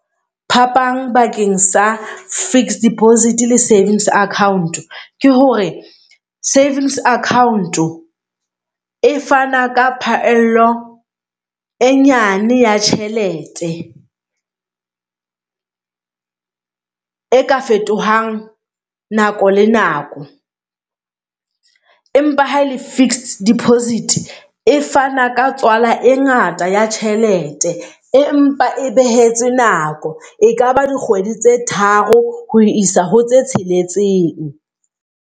Phapang bakeng sa fixed deposit le savings account ke hore savings account e fana ka phaello e nyane ya tjhelete e ka fetohang nako le nako, empa ha le fixed deposit e fana ka tswala e ngata ya tjhelete, empa e behetswe nako e kaba dikgwedi tse tharo ho isa ho tse tsheletseng.